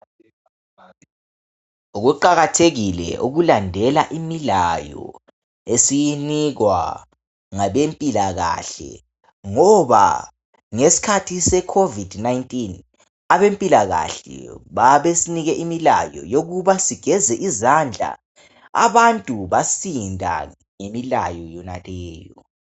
Kuqakathekile ukulandela imilayo esiyinikwa ngabempilakahle ngoba ngesikhathi seCovid-19 abempilakahle babesinike imilayo yokuba sigeze izandla. Abantu basinda ngemilayo yonaleyo.